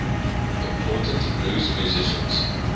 important blues musicians